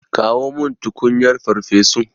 Kawo min tukunyar farfesun.